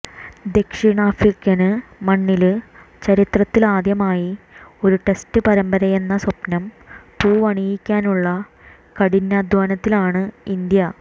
ദക്ഷിണാഫ്രിക്കന് മണ്ണില് ചരിത്രത്തലാദ്യമായി ഒരു ടെസ്റ്റ് പരമ്പരയെന്ന സ്വപ്നം പൂവണിയിക്കാനുള്ള കഠിനാധ്വാനത്തിലാണ് ഇന്ത്യ